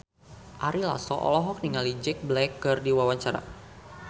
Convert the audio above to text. Ari Lasso olohok ningali Jack Black keur diwawancara